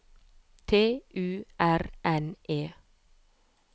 T U R N E